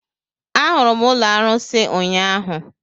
Ahụrụ m ụlọ arusi ụnyaahụ